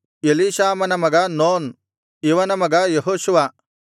Elishama ಮಗ Nun ಇವನ ಮಗ ಯೆಹೋಷುವ